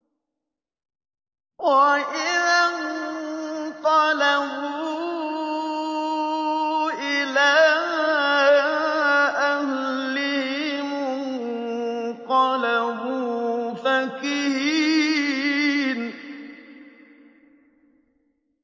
وَإِذَا انقَلَبُوا إِلَىٰ أَهْلِهِمُ انقَلَبُوا فَكِهِينَ